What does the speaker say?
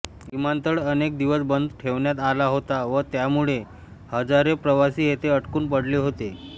विमानतळ अनेक दिवस बंद ठेवण्यात आला होता व त्यामळे हजारे प्रवासी येथे अडकून पडले होते